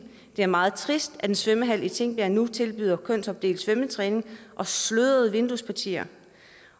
det er meget trist at en svømmehal i tingbjerg nu tilbyder kønsopdelt svømmetræning og slørede vinduespartier